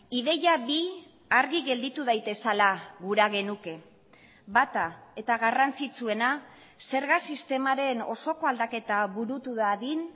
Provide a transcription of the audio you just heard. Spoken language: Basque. ideia bi argi gelditu daitezela gura genuke bata eta garrantzitsuena zerga sistemaren osoko aldaketa burutu dadin